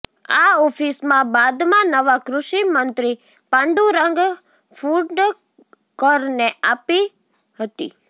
આ ઓફિસમાં બાદમાં નવા કૃષિ મંત્રી પાંડુરંગ ફુંડકરને અપાી હતી